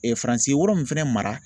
Faransi ye yɔrɔ min fɛnɛ mara